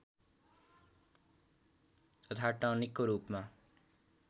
तथा टनिकको रूपमा